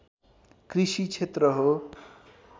कृषि क्षेत्र हो